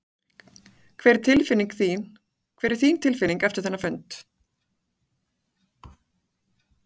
Hver er þín tilfinning eftir þennan fund?